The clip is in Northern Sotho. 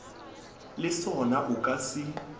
le sona o ka se